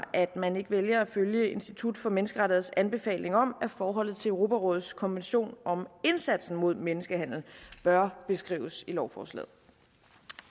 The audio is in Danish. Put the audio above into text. at man ikke vælger at følge institut for menneskerettigheders anbefaling om at forholdet til europarådets konvention om indsatsen mod menneskehandel bør beskrives i lovforslaget